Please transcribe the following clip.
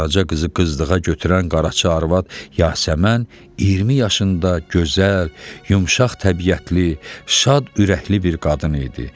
Qaraca qızı qızlığa götürən qaraçı arvad Yasəmən 20 yaşında gözəl, yumşaq təbiətli, şad ürəkli bir qadın idi.